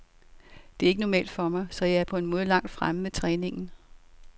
Det er ikke normalt for mig, så jeg er på en måde langt fremme med træningen.